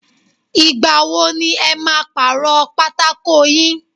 Ìgbà wo ni ẹ máa paro pátákó yín?